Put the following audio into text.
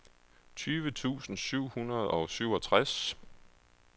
tyve tusind syv hundrede og syvogtres